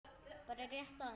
Bara rétt aðeins.